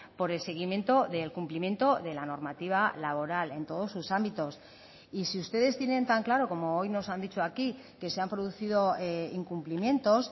por el seguimiento del cumplimiento de la normativa laboral en todos sus ámbitos y si ustedes tienen tan claro como hoy nos han dicho aquí que se han producido incumplimientos